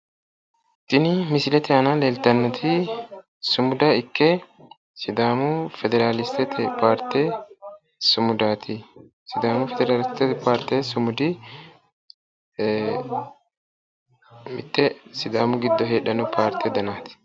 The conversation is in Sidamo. Tini misilete aana leeltannoti sumuda ikke sidaamu federaliste paarte sumudaati. Sidaamu federalistete paarte sumudi mitte sidaamu giddo heedhanno parte danaati.